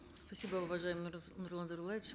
спасибо уважаемый нурлан зайроллаевич